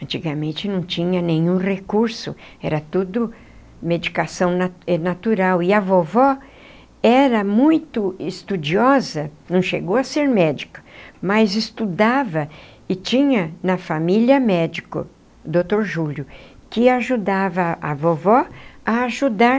Antigamente não tinha nenhum recurso, era tudo medicação na eh natural, e a vovó era muito estudiosa, não chegou a ser médica, mas estudava e tinha na família médico, doutor Júlio, que ajudava a vovó a ajudar